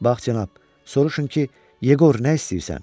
Bax, cənab, soruşun ki, Yeqor, nə istəyirsən?